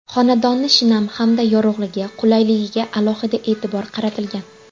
Xonadonni shinam hamda yorug‘ligi, qulayligiga alohida e’tibor qaratilgan.